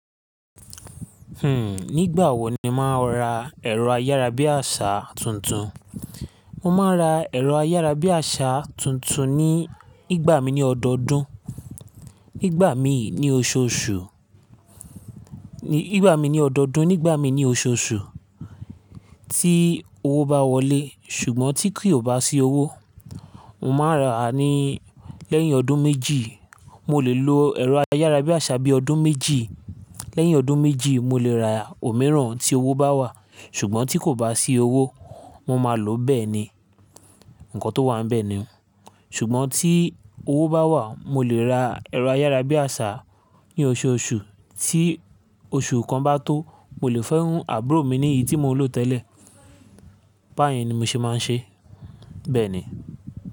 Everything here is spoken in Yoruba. Nígbà wo ni o màá ń ra ẹ̀rọ ayárabíàṣá tuntun? Mo máa ń ra ẹ̀rọ ayárabíàṣá tuntun ní, nígbà mí ní ọdọdún, nígbà mí ní oṣooṣù, nígbà mí ní ọdọdún, nígbà mí ní oṣooṣù tí owó bá wọlé. Ṣùgbọ́n tí kì ó bá sí owó, mo máa ń rà á ní lẹ́yìn ọdún méjì. Mo lè lo ẹ̀rọ ayárabíàṣá bí ọdún méjì. Lẹ́yìn ọdún méjì, mo lè ra òmíràn tí owó bá wà, ṣùgbọ́n tí kò bá sí owó, mo máa lòó bẹ́ẹ̀ ni. Ǹkọ tó wà bẹ́ẹ̀ ni. Ṣùgbọ́n tí owó bá wà, mo lè ra ẹ̀rọ ayárabíàṣá ní oṣooṣù. Tí oṣù kan bá tó, mo lè fùn àbúrò mi ní èyí tí mo lò tẹ́lẹ̀. Báyìí ni mi ṣe máa ń ṣe, bẹ́ẹ̀ ni.